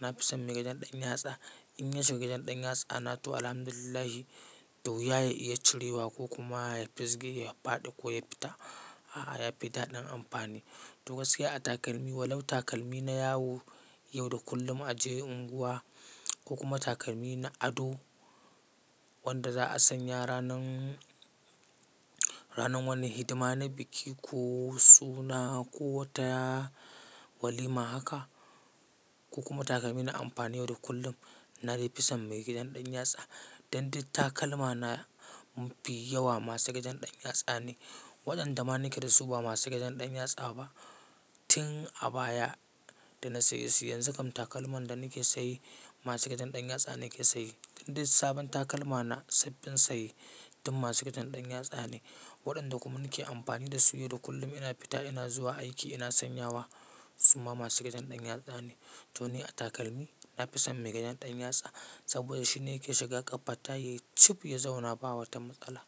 na fi son mai gidan ɗan yatsa. In ya shiga ɗan yatsana to Alhamdulillah, dauya ya iya cirewa ko kuma ya fisge ya faɗi ko yafita. A'a yafi daɗin amfani. To gaskiya a takalmi walau takalmi na yawo, yau da kullum a je unguwa ko kuma takalmi na ado wanda za a sanya ranan, ranan wani hidima na biki ko suna ko wata walima haka ko kuma takalmi na amfani yau da kullum. Na dai fi son mai gidan ɗan yatsa. Dan duk takalma na mafi yawa masu gidan ɗan yatsa ne. Waɗanda ma na ke da su ba masu gajen ɗan yatsa ba tin a baya da na saye su. Yanzu kam takalman da na ke saye masu gajen ɗan yatsa na ke saye. Dan duk sabon takalma na sabbin saye duk masu gajen ɗan yatsa ne. Waɗanda kuma na ke amfani da su yau da kullum ina fita ina zuwa aiki ina sanyawa suma masu gajen ɗan yatsa ne. To ni a takalmi na fi son mai gajen ɗan yatsa saboda shi ne yake shiga ƙafata ya cib ya zauna ba wata matsala.